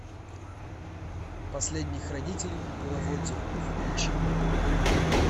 последний хранитель беловодья включи мне